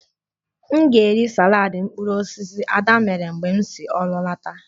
M ga-eri saladị mkpụrụ osisi Ada mere mgbe m si ọrụ lọta